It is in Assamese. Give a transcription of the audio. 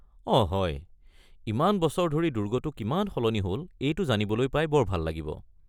অঁ হয়। ইমান বছৰ ধৰি দুৰ্গটো কিমান সলনি হ’ল এইটো জানিবলৈ পাই বৰ ভাল লাগিব।